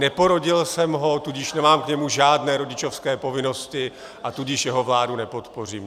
Neporodil jsem ho, tudíž nemám k němu žádné rodičovské povinnosti, a tudíž jeho vládu nepodpořím.